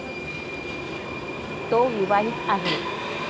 तो विवाहित आहे.